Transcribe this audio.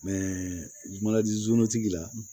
tigi la